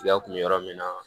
Tigɛ kun mi yɔrɔ min na